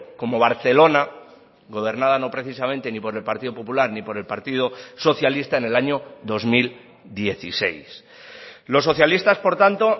como barcelona gobernada no precisamente ni por el partido popular ni por el partido socialista en el año dos mil dieciséis los socialistas por tanto